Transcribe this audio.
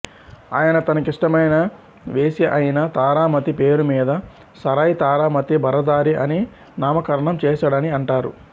ఆయన తనకిష్టమైన వేశ్య అయిన తారామతి పేరు మీద సరాయ్ తారామతి బరదారి అని నామకరణం చేశాడని అంటారు